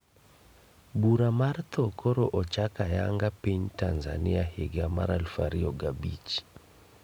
bura mar thoo koro ochak ayanga piny Tanzania higa 2005